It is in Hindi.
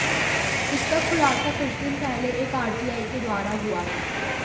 इसका खुलासा कुछ दिन पहले एक आरटीआई के द्वारा हुआ था